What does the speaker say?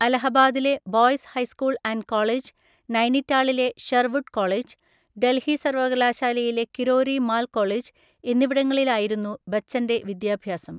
അലഹബാദിലെ boys high school and college, നൈനിറ്റാളിലെ Sherwood college, Delhi സർവകലാശാലയിലെ Kirori Mal college എന്നിവിടങ്ങളിലായിരുന്നു ബച്ചൻ്റെ വിദ്യാഭ്യാസം.